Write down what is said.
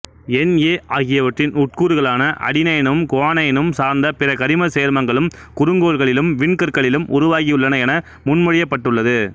என் A ஆகிவற்றின் உட்கூறுகளான அடினைனும் குவானைனும் சார்ந்த பிற கரிமச் சேர்மங்களும் குறுங்கோள்களிலும் விண்கற்களிலும் உருவாகியுள்ளன என முன்மொழியப்பட்டுள்ளது